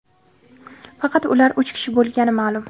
faqat ular uch kishi bo‘lgani ma’lum.